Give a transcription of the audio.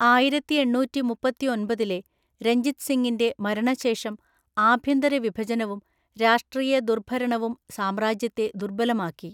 ആയിരത്തിഎണ്ണൂറ്റിമുപ്പത്തിഒമ്പതിലെ രഞ്ജിത് സിങ്ങിന്റെ മരണശേഷം ആഭ്യന്തര വിഭജനവും രാഷ്ട്രീയ ദുർഭരണവും സാമ്രാജ്യത്തെ ദുർബലമാക്കി.